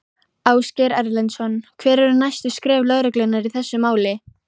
Ásgeir Erlendsson: Hver eru næstu skref lögreglunnar í þessu máli?